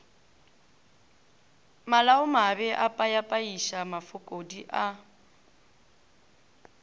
malaomabe o phayaphaiša mafokodi a